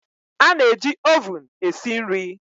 A na-eji ovun esi nri